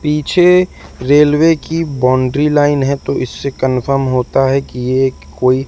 पीछे रेलवे की boundary line है तो इससे कंफर्म होता है कि ये एक कोई --